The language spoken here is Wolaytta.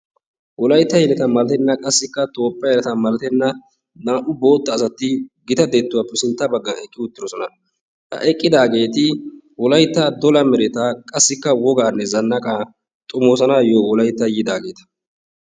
wolaytta yeleta malatenna qassikka toophiyaa yeleta malatenna naa'u bootta asati gita detuwaape sintta bagan eqqi uttidosona ha eqqidaageeti wolayitta dola meretaa qassikka wogaanne zannaqaa xomoosanaayoo wolaytta yiidaageeta.